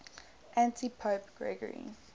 antipope gregory